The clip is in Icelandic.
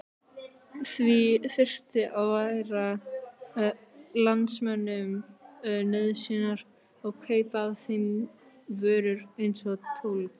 Því þyrfti að færa landsmönnum nauðsynjar og kaupa af þeim vörur eins og tólg.